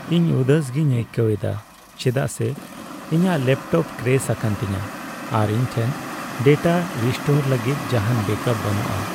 ᱤᱧ ᱩᱫᱟᱹᱥ ᱜᱮᱧ ᱟᱹᱭᱠᱟᱹᱣ ᱮᱫᱟ ᱪᱮᱫᱟᱜ ᱥᱮ ᱤᱧᱟᱹᱜ ᱞᱮᱯᱴᱚᱯ ᱠᱨᱮᱥ ᱟᱠᱟᱱ ᱛᱤᱧᱟᱹ, ᱟᱨ ᱤᱧ ᱴᱷᱮᱱ ᱰᱮᱴᱟ ᱨᱤᱥᱴᱳᱨ ᱞᱟᱹᱜᱤᱫ ᱡᱟᱦᱟᱱ ᱵᱮᱹᱠᱟᱯ ᱵᱟᱹᱱᱩᱜᱼᱟ ᱾